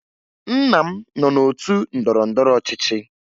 Nna m nọ n'otu ndọrọndọrọ ọchịchị